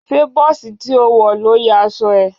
Ṣé bọ́ọ̀sì tí ó wọ̀ ló ya aṣọ ẹ?